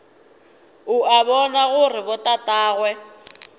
o a bona gore botatagwe